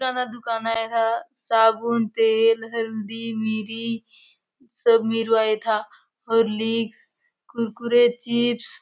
‌किराना दुकान आय ह साबुन तेल हल्दी मिरी सब मिलुआय एथा हॉर्लिक्स कुरकुरे चिप्स --